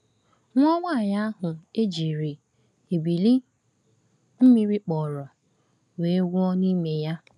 Nwa nwaanyị ahụ e jiri ebili mmiri kpọrọ, wee nwụọ n’ime ya.